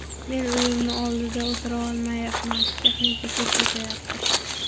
Men uyimni oldida o‘tira olmayapman, texnika ko‘p o‘tyapti.